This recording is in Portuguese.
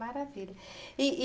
Maravilha. E e